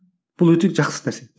бұл өте жақсы нәрсе